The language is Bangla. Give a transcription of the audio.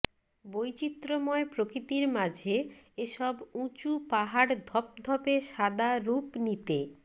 বৈচিত্র্যময় প্রকৃতির মাঝে এসব উঁচু পাহাড় ধপধপে সাদা রূপ নিতে